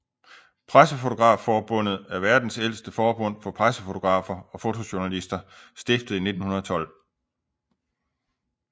Pressefotografforbundet er verdens ældste forbund for pressefotografer og fotojournalister stiftet i 1912